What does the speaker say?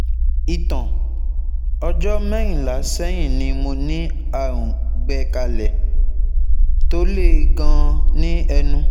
Ìtàn: ọjọ́ mẹ́rìnlá sẹ́yìn ni mo ní àrùn gbẹ̀kálẹ̀ tó le gan-an ní ẹnu